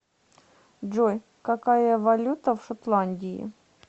джой какая валюта в шотландии